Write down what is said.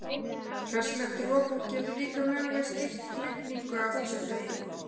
Hressilegt rok getur líka mögulega skýrt rigningu af þessu tagi.